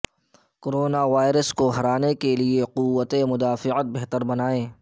corona virus کو ہرانے کے لیے قوت مدافعت بہتر بنائیں